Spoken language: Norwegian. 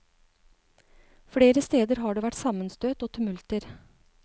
Flere steder har det vært sammenstøt og tumulter.